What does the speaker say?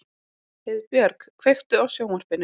Heiðbjörk, kveiktu á sjónvarpinu.